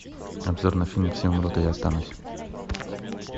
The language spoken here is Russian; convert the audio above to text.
обзор на фильм все умрут а я останусь